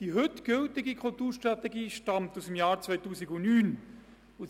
Die heute gültige Kulturstrategie stammt aus dem Jahr 2009.